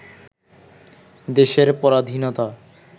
দেশের পরাধীনতা